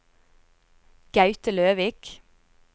Gaute Løvik